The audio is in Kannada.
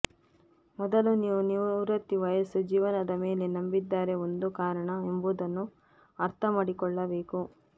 ಮೊದಲ ನೀವು ನಿವೃತ್ತಿ ವಯಸ್ಸು ಜೀವನದ ಮೇಲೆ ನಂಬಿದ್ದಾರೆ ಒಂದು ಕಾರಣ ಎಂಬುದನ್ನು ಅರ್ಥ ಮಾಡಿಕೊಳ್ಳಬೇಕು